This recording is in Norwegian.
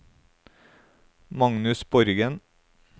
Magnus Borgen